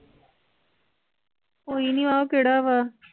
ਕੋਈ ਨੀ ਆਹ ਕਿਹੜਾ ਵਾ